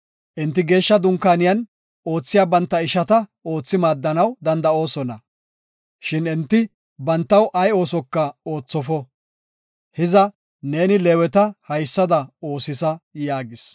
Enti Geeshsha Dunkaaniyan oothiya banta ishata oothi maaddanaw danda7oosona. Shin enti bantaw ay oosoka oothofo. Hiza neeni Leeweta haysada oosisa” yaagis.